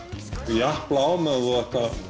japlað á meðan þú